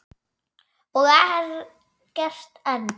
Og er gert enn.